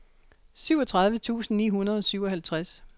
syvogtredive tusind ni hundrede og syvoghalvtreds